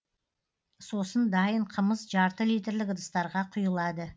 сосын дайын қымыз жарты литрлік ыдыстарға құйылады